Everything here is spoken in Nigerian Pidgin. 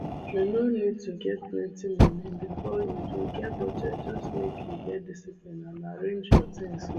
u no need to get plenty money before you do get budget just make you get discipline and arrange your things well